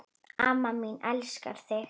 Amma mín, ég elska þig.